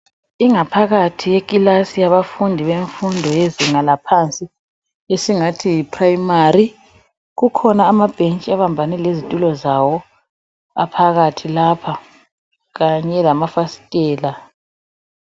Ingaphakathi yekilasi yabafundi yefundo yezinga laphansi, isingathi yi 'primary', kukhona amabhetshi abambane ngezithulo zawo,, aphakathi lapha kanye lemafasithela.